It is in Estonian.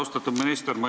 Austatud minister!